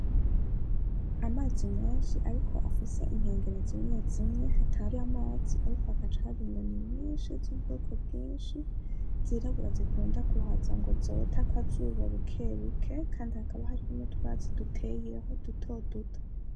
Amazi menshi ariko afise inkengera zimwe zimwe hatar'amazi ariko hagaca haba inyoni nyinshi z'ubwoko bwinshi zirabura zikunda kuhaza ngo zote akazuba bukebuke , kandi hakaba hariho n'utwatsi duteyeho dutoduto.